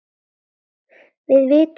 Við vitum betur